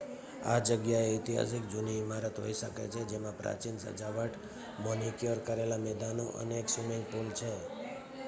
આ જગ્યા ઐતિહાસિક જૂની ઇમારત હોઈ શકે છે જેમાં પ્રાચીન સજાવટ મેનિક્યોર કરેલા મેદાનો અને એક સ્વિમિંગ પુલ છે